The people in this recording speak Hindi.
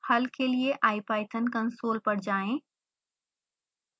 हल के लिए ipython कंसोल पर जाएं